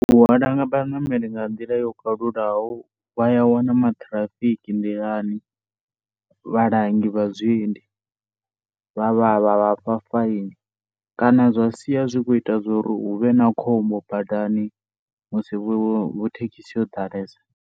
U halwa vhanemeli nga nḓila yo khalulaho vhaya wana matirafiki nḓilani, vhalangi vha zwiendi, vha vhafha faini kana zwa sia zwi khou ita uri huvhe na khombo bandani musi thekhisi yo dalesa.